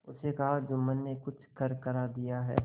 उसने कहाजुम्मन ने कुछ करकरा दिया है